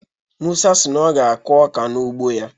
Musa si na ọ ga-akụ ọka n'ugbo ya.